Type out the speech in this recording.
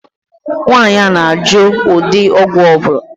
Nwaànyị ahụ na -ajụ ụdị ọgwụ ọbula